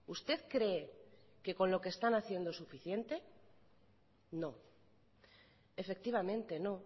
usted cree que con lo que están haciendo es suficiente no efectivamente no